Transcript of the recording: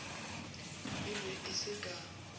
e be e se ka